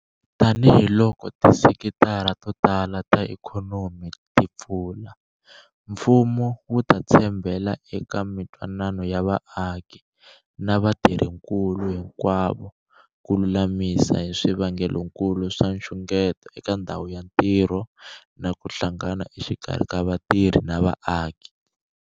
Tanihiloko tisekitara to tala ta ikhonomi ti pfula, mfumo wu ta tshembela eka mitwanano ya vaaki na vatirhinkulu hinkwavo ku lulamisa hi swivangelokulu swa nxungeto eka ndhawu ya ntirho na ku hlangana exikarhi ka vatirhi na vaaki.